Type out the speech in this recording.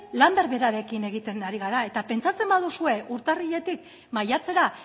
lan berberarekin egiten ari gara eta pentsatzen baduzue urtarriletik maiatzera